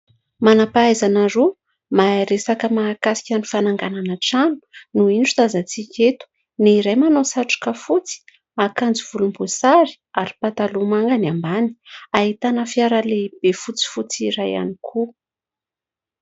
Manam-pahaizana roa, mahay resaka mahakasika ny fananganana trano no indro tazantsika eto. Ny iray manao satroka fotsy, akanjo volomboasary ary pataloha manga ny ambany. Ahitana fiara lehibe fotsifotsy iray ihany koa.